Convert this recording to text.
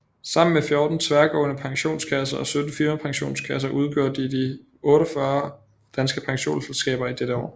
Sammen med 14 tværgående pensionskasser og 17 firmapensionskasser udgjorde de de 48 danske pensionsselskaber i dette år